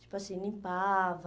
Tipo assim, limpava...